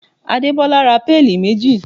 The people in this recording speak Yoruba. Adebola ra péèlì méjì